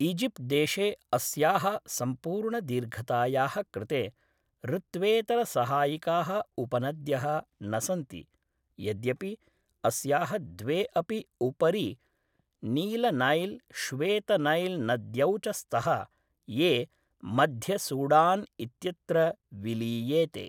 इजिप्ट्देशे अस्याः सम्पूर्णदीर्घतायाः कृते ऋत्वेतरसहायिकाः उपनद्यः न सन्ति, यद्यपि अस्याः द्वे अपि उपरि नीलनैल् श्वेतनैल् नद्यौ च स्तः, ये मध्यसूडान् इत्यत्र विलीयेते।